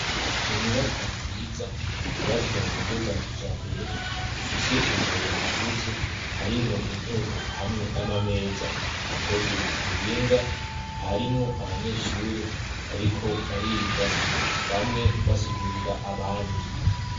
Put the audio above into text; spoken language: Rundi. Inyubako nziza yubatswe mu buryo bwa kijambere. Ifise imbere hagutse harimwo intebe hamwe n'ama meza akozwe ku buhinga. Harimwo abanyeshure bariko bariga bamwe basigurira abandi.